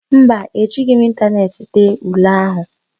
Mba, Ejighị m ịntaneetị dee ule ahụ